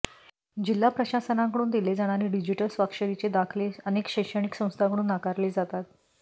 जिल्हा प्रशासनाकडून दिले जाणारे डिजिटल स्वाक्षरीचे दाखले अनेक शैक्षणिक संस्थांकडून नाकारले जातात